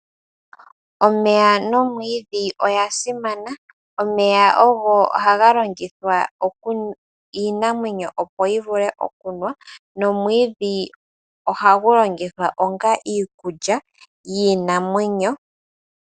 Omeya noomwiidhi oya simana. Omeya ogo haga longithwa iinamwenyo opo yi vule okunwa. Nomwiidhi ohagu longithwa onga iikulya yiinamwenyo.